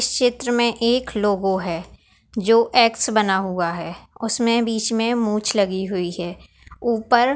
चित्र में एक लोगो है जो एक्स बना हुआ है उसमे बीच मे मुछ लगी हुई है ऊपर--